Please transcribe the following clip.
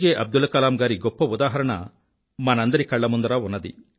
అబ్దుల్ కలాం గారి గొప్ప ఉదాహరణ మనందరి కళ్ళ ముందరా ఉంది